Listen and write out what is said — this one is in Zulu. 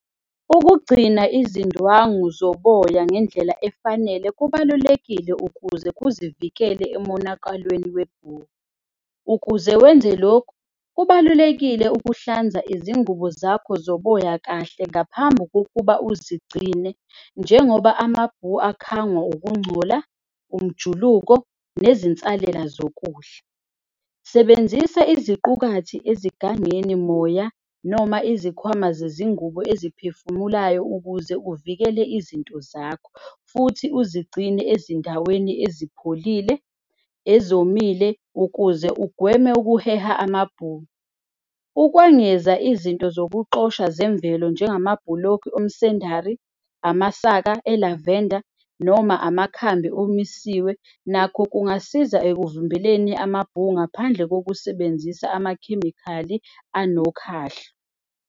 Ukugcina izindwangu zoboya ngendlela efanele kubalulekile ukuze kuzivikela emonakalweni webhu. Ukuze wenze lokhu, kubalulekile ukuhlanza izingubo zakho zoboya kahle ngaphambi kokuba uzigcine. Njengoba amabhu akhangwa ukungcola, umjuluko nezinsalela zokudla. Sebenzisa iziqukathi ezigangeni moya noma izikhwama zezingubo eziphefumulayo ukuze uvikele izinto zakho. Futhi uzigcine ezindaweni ezipholile, ezomile ukuze ugweme ukuheha amabhu. Ukwengeza izinto zokuxosha zemvelo njengama bhulokhu omsendari, amasaka elavenda noma amakhambi omisiwe. Nakho kungasiza ekuvimbeleni amabhu ngaphandle kokusebenzisa amakhemikhali anokhahla.